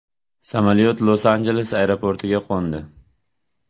Samolyot Los-Anjeles aeroportiga qo‘ndi.